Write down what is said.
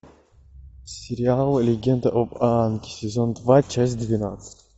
сериал легенда об аанге сезон два часть двенадцать